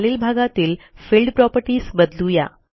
खालील भागातील field properties बदलू या